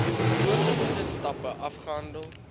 bogenoemde stappe afgehandel